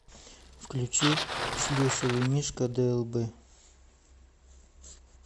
включи шлюшевый мишка длб